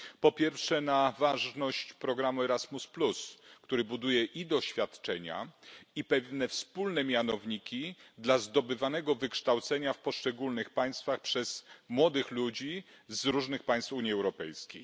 Po pierwsze, na ważność programu Erasmus, który buduje i doświadczenia, i pewne wspólne mianowniki dla zdobywanego wykształcenia w poszczególnych państwach przez młodych ludzi z różnych państw Unii Europejskiej.